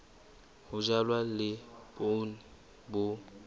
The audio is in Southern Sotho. ho jalwa le poone bo